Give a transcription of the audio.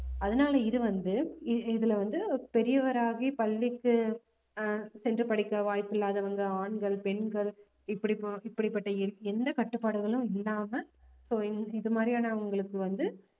அதனால இது வந்து இ~ இதுல வந்து பெரியவராகி பள்ளிக்கு ஆஹ் சென்று படிக்க வாய்ப்பில்லாதவங்க ஆண்கள் பெண்கள் இப்படி~ இப்படிப்பட்ட எந்த கட்டுப்பாடுகளும் இல்லாம so இது மாதிரியானவங்களுக்கு வந்து